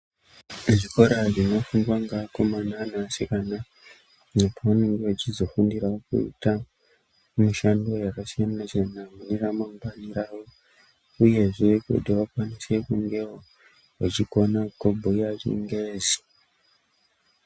Zvikora zvinofundwa ngevakomana nevasikana pavanenge vechizofundira kuita mishando yakasiyana siyana mune ramangwani ravo uyezve kuti vakwanise kungevo vechigona kubhuya chingezi.